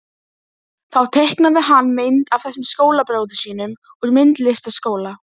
Þá teiknaði hann mynd af þessum skólabróður sínum úr myndlistarskóla.